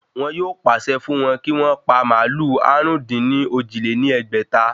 Wọn yóò pàṣẹ fún wọ́n kí wọ́n pa màálù àrún-dín-ní-ojì lé ní ẹgbẹ́ta